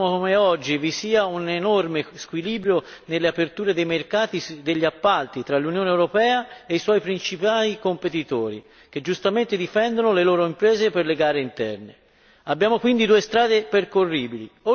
I dati sono chiari e inconfutabili e dimostrano come oggi vi sia un enorme squilibrio nelle aperture dei mercati degli appalti tra l'Unione europea e i suoi principali competitori, che giustamente difendono le loro imprese per le gare interne.